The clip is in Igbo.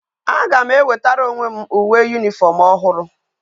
A ga m e wetara onwe m uwe uniform ohuru